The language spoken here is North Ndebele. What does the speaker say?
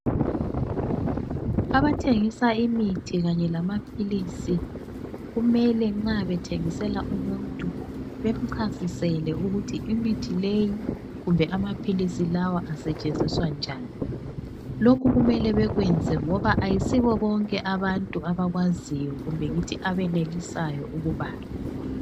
Abathengisa imithi kanye lamaphilisi, kumele nxa bethengisela umuntu bemchasisele ukuthi imithi leyi kumbe amaphilisi lawa asetshenziswa njani. Lokhu kumele bakwenze ngoba ayisibo bonke abantu abakwaziyo kumbe ngithi abenelisayo ukubala.